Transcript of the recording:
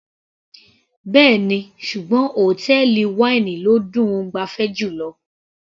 Bẹ́ẹ̀ni, ṣùgbọ́n hòtẹ́ẹ̀lì wáínì ló dùn -un gbafẹ́ jùlọ.